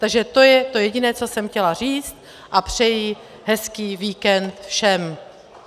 Takže to je to jediné, co jsem chtěla říct, a přeji hezký víkend všem.